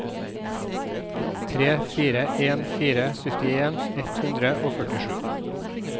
tre fire en fire syttien ett hundre og førtisju